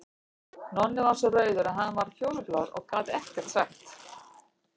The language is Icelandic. Nonni varð svo rauður að hann varð fjólublár og gat ekkert sagt.